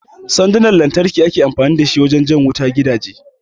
Sandunan lantarki ake amfani da wurin jan wuta zuwa gidaje